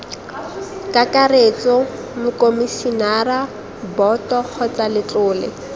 kakaretso mokomisinara boto kgotsa letlole